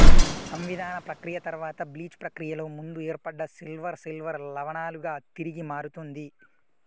సంవిధాన ప్రక్రియ తర్వాత బ్లీచ్ ప్రక్రియలో ముందు ఏర్పడ్డ సిల్వర్ సిల్వర్ లవణాలుగా తిరిగి మారుతుంది